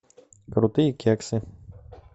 крутые кексы